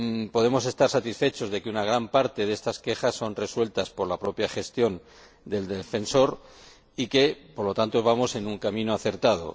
Podemos estar satisfechos de que una gran parte de estas quejas son resueltas por la propia gestión del Defensor y que, por lo tanto, vamos en un camino acertado.